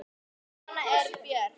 Svona er Björk.